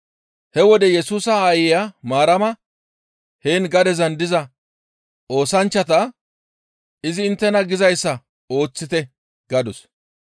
He wode Yesusa aayeya Maarama heen gadezan diza oosanchchata, «Izi inttena gizayssa ooththite» gadus.